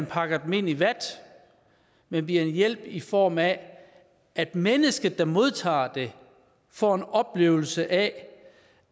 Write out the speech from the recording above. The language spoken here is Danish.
pakke dem ind i vat men bliver en hjælp i form af at mennesket der modtager den får en oplevelse af